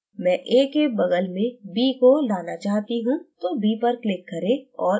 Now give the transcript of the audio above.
मैं a के बग़ल में b को लाना चाहती हूँ तो b पर click करें और इसे चुनें